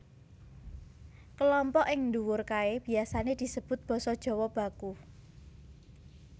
Kelompok ing nduwur kaé biasané disebut basa Jawa baku